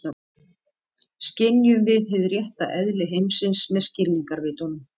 Skynjum við hið rétta eðli heimsins með skilningarvitunum?